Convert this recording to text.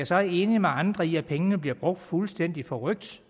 så enig med andre i at pengene bliver brugt fuldstændig forrykt